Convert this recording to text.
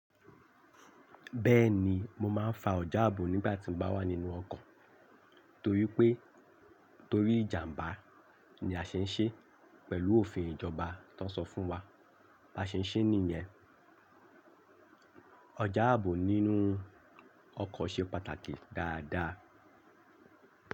Bẹ́ẹ̀ni mo máa ń fa ọjà ààbò nígbà tí mo bá wà nínú ọkọ̀ torí pé torí ìjàmbá ni a ṣe ń ṣe pẹ̀lú òfin ìjọba tó ń sọ fún wa bá ṣe ń ṣe níyẹn. Ààbò nínú ọkọ̀ ṣe pàtàkì dáadáa.